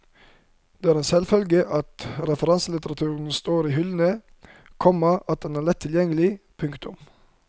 Der er det en selvfølge at referanselitteraturen står i hyllene, komma at den er lett tilgjengelig. punktum